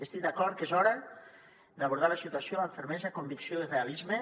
estic d’acord que és hora d’abordar la situació amb fermesa convicció i realisme